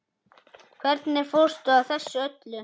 Hvernig fórstu að þessu öllu?